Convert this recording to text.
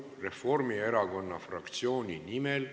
Reformierakonna fraktsiooni nimel ...